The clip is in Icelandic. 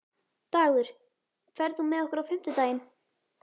Dagur, ferð þú með okkur á fimmtudaginn?